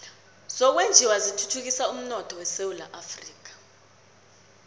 zokwenjiwa zithuthukisa umnotho esewula afrika